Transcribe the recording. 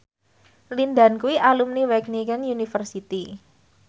Lin Dan kuwi alumni Wageningen University